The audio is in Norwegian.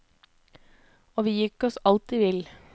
Og vi gikk oss alltid vill.